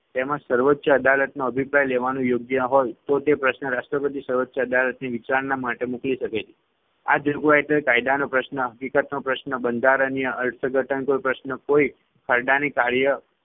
તેમાં સર્વોચ્ય અદાલતનો અભિપ્રાય લેવાનું યોગ્ય હોય તો તે પ્રશ્ન રાષ્ટ્રપતિ સર્વોચ્ય અદાલતની વિચારણા માટે મોકલી શકે છે. આ જોગવાઈ હેઠળ કાયદાનો પ્રશ્ન, હકીકતનો પ્રશ્ન, બંધારણીય અર્થઘટનનો પ્રશ્ન, કોઈ ખરડાની કાર્ય